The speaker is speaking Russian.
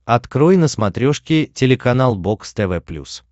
открой на смотрешке телеканал бокс тв плюс